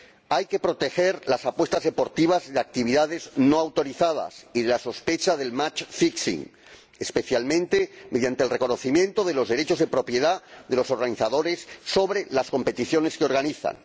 Hay que proteger las apuestas deportivas de actividades no autorizadas y de la sospecha del match fixing especialmente mediante el reconocimiento de los derechos de propiedad de los organizadores sobre las competiciones que organizan.